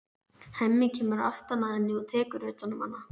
Hemmi kemur aftan að henni og tekur utan um hana.